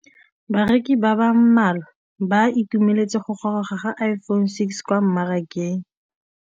Bareki ba ba malwa ba ituemeletse go gôrôga ga Iphone6 kwa mmarakeng.